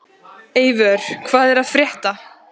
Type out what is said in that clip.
Eivör, hvað er að frétta?